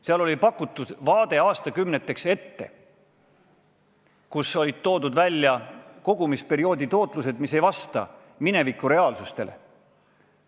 Seal oli pakutud vaade aastakümneteks ette, kogumisperioodi tootlused, mis ei vasta mineviku reaalsusele.